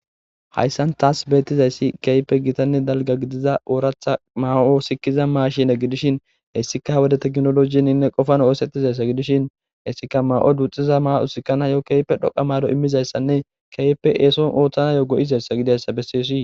Hayssan taas beettizayssi keype gitanne dalga gidiza ooratha maa7o sikiza maashine gidishin hessika wode ta ginologininne qofan oosettizayssa gidishin hessika maa7o duxxiza ma7usikkan hayo keype dhoqa maalo immizayssanne keype eeson ooththanayo go7izayssa gidayssa besseosii.